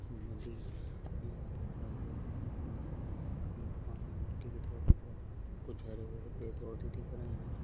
नदी है। ये भरा हुआ कुछ पानी सा कुछ हरे भरे पोधे दिख रहे है।